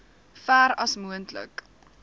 ver as moontlik